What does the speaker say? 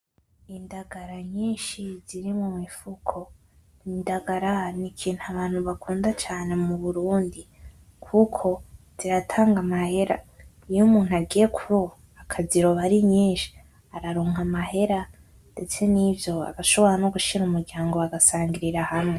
Indagara nyinshi ziri mu mifuko. Indagara n'ikintu abantu bakunda cane mu Burundi kuko ziratanga amahera. Iyo umuntu agiye kuroba akaziroba ari nyinshi, araronka amahera, ndetse n'ivyo abashobora no gushira umuryango bagasangirira hamwe.